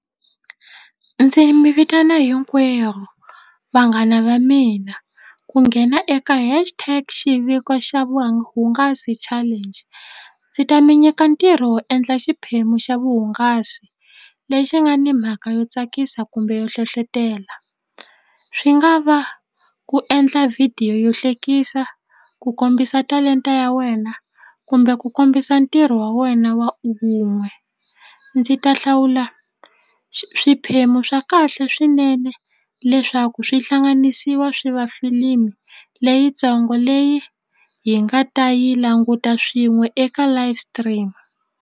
Ndzi mi vitana hinkwerhu vanghana va mina ku nghena eka hash tax xiviko xa vuhungasi challenge ndzi ta mi nyika ntirho wo endla xiphemu xa vuhungasi lexi nga ni mhaka yo tsakisa kumbe yo hlohlotelo swi nga va ku endla video yo hlekisa ku kombisa talenta ya wena kumbe ku kombisa ntirho wa wena wa wun'we ndzi ta hlawula swiphemu swa kahle swinene leswaku swi hlanganisiwa swi va tifilimu leyintsongo leyi hi nga ta yi languta swin'we eka live stream.